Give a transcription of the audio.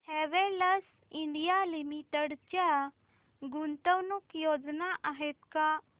Havells India limited च्या गुंतवणूक योजना आहेत का